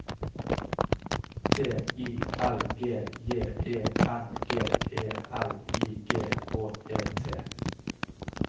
T I L G J E N G E L I G H E T